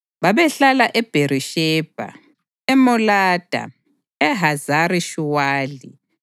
Babehlala eBherishebha, eMolada, eHazari-Shuwali,